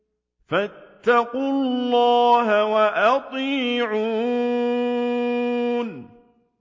فَاتَّقُوا اللَّهَ وَأَطِيعُونِ